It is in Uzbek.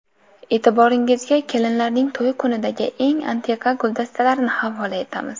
E’tiboringizga kelinlarning to‘y kunidagi eng antiqa guldastalarini havola etamiz.